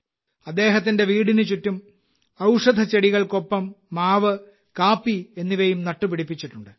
അദ്ദേഹത്തിന്റെ വീടിനുചുറ്റും ഔഷധച്ചെടികൾക്കൊപ്പം മാവ് കാപ്പി എന്നിവയും നട്ടുപിടിപ്പിച്ചിട്ടുണ്ട്